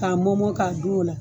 K'a mɔmɔ k'a dun o la